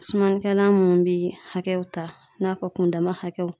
Sumanikɛlan minnu bɛ hakɛw ta, i n'a fɔ kundama hakɛw.